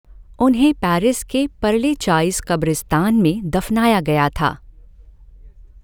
उन्हें पैरिस के परलेचाइज़ क़ब्रिस्तान में दफ़नाया गया था।